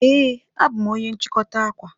Ee, abụ m onye nchikota akwa.